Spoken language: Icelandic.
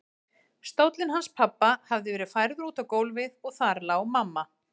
Stóllinn hans pabba hafði verið færður út á gólfið og þar lá mamma.